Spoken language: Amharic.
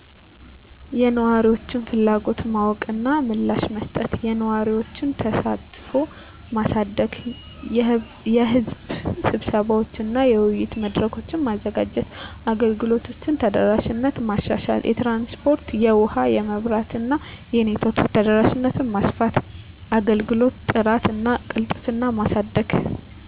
*የነዋሪዎችን ፍላጎት ማወቅ እና ምላሽ መስጠት፦ *የነዋሪዎችን ተሳትፎ ማሳደግ * የሕዝብ ስብሰባዎች እና የውይይት መድረኮች: ማዘጋጀት። * የአገልግሎቶችን ተደራሽነት ማሻሻል * የትራንስፖርት *የውሀ *የመብራት እና የኔትወርክ ተደራሽነትን ማስፋት፤ * የአገልግሎት ጥራት እና ቅልጥፍና ማሳደግ